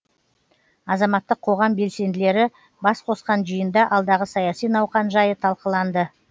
азаматтық қоғам белсенділері бас қосқан жиында алдағы саяси науқан жайы талқыланды